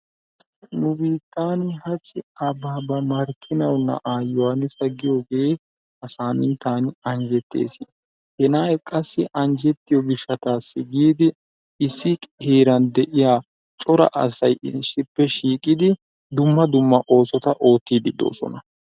Nu biittani hachchi Abbabba markinawu na'aa yohanisa giyoge ha saminttan anjjetees. He na'ay qassi anjjettiyo gishshatassi giidi issi heeran de'iya cora asay issippe shiiqidi dumma dumma oosota oottidi de'oosona.